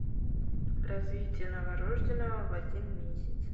развитие новорожденного в один месяц